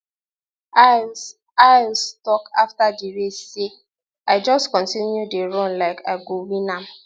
lyles lyles tok afta di race say i just continue to dey run like i go win am